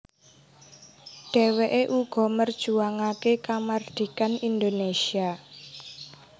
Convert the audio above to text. Dheweke uga merjuangake kamardhikan Indonésia